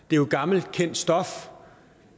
det er jo gammelt kendt stof